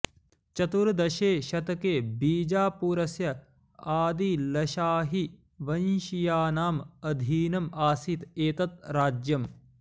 चतुर्दशे शतके बिजापुरस्य आदिलशाहीवंशीयानाम् अधीनम् आसीत् एतत् राज्यम्